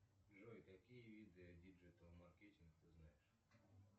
джой какие виды диджитал маркетинг ты знаешь